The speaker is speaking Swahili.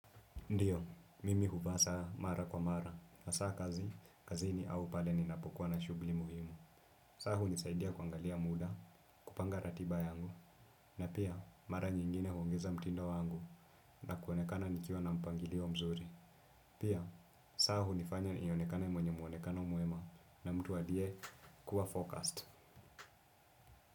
Ndio, mimi huvaa saa mara kwa mara, hasa kazi, kazi ni au pale ninapokuwa na shughuli muhimu. Saa hunisaidia kuangalia muda, kupanga ratiba yangu, na pia mara nyingine huongeza mtindo wangu na kuonekana nikiwa na mpangilio mzuri. Pia, saa hunifanya nionekana mwenye muonekano mwema, na mtu aliye kuwa focused.